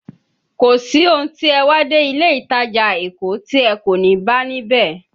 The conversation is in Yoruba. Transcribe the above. Kò sí ohun tí ẹ wá dé ilé ìtajà Èkó tí ẹ kò ní bá ní bẹ̀.